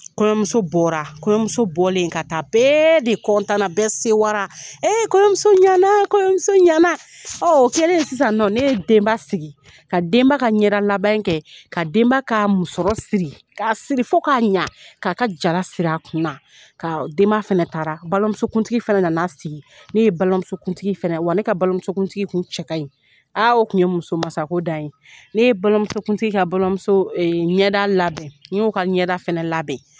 Kɔɲɔmuso bɔra kɔɲɔmuso bɔlen ka taa bɛɛ de bɛɛ sewala ee kɔɲɔmuso ɲɛna kɔɲɔmuso ɲɛnaana o kƐlen sisan ne ye denba sigi ka denba ka ɲɛdalabɛn kɛ ka denba ka musƆrƆ siri ka siri fo k'a ɲɛ k'a ka jala siri a kun na ka denba fana taara balimamusokuntigi fana nan'a sigi ne ye balimamusokuntigi fana wa ne ka balimamusokuntigi kun cɛ ka ɲi aa o tun ye musomasako dan ye ne ye balimamusokuntigi ka balimamuso ɲɛda labɛn n y'o ka ɲɛda fana labɛn